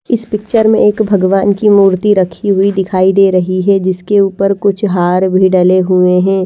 इस पिक्चर में एक भगवान् की मूर्ती रखी हुई दिखाई दे रही है जिसके ऊपर कुछ हार भी डले हुए हैं।